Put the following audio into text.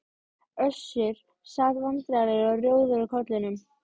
Össur sat vandræðalegur og rjóður á kollinum.